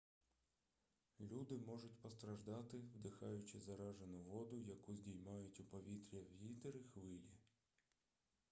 люди можуть постраждати вдихаючи заражену воду яку здіймають у повітря вітер і хвилі